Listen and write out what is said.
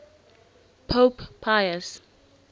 pope pius